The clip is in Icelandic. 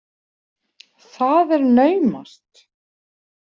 Það er naumast!